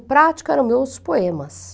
O prático eram meus poemas.